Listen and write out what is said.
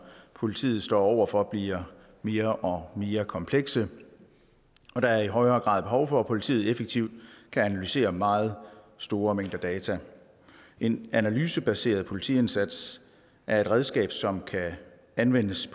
politiet står over for bliver mere og mere komplekse og der er i højere grad behov for at politiet effektivt kan analysere meget store mængder data en analysebaseret politiindsats er et redskab som kan anvendes i